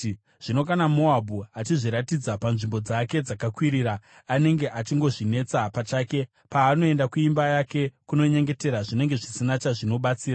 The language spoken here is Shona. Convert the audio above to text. Zvino kana Moabhu achizviratidza panzvimbo dzake dzakakwirira, anenge achingozvinetsa pachake; paanoenda kuimba yake kunonyengetera, zvinenge zvisina chazvinobatsira,